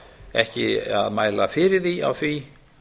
ekki að mæla fyrir því á því